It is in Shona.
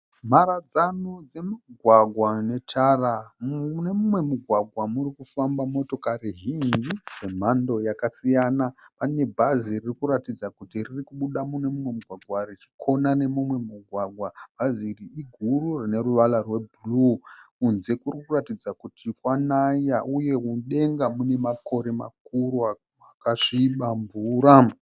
Mharadzano dzemugwagwa netara mune mumwe mugwagwa murikufamba motokari zhinji dzemhando yakasiyana pane bhazi rikuratidza kuti riri kubuda nemumwe mugwagwa richikona nemumwe mugwagwa bhazi iri iguru rine ruvara rwebhuruu kunze kurikuratidza kuti kwanaya uye mudenga mune makore makuru akasviba mvura